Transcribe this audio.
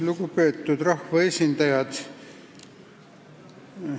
Lugupeetud rahvaesindajad!